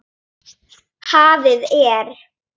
Hafið er